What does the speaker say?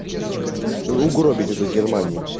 угробить эту германию